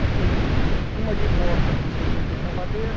Nós temos uma de porta com cento e oitenta madeira,